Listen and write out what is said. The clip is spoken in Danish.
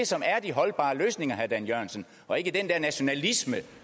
som er de holdbare løsninger herre dan jørgensen og ikke den der nationalisme